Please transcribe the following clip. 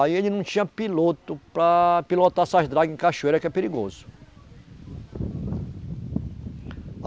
Aí ele não tinha piloto para pilotar essas dragas em cachoeira, que é perigoso.